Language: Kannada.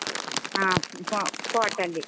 ಹಾ po~ pot ಅಲ್ಲಿ.